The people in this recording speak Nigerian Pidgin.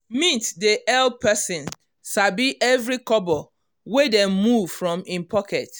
mint dey help person sabi every kobo wey dey move from him pocket.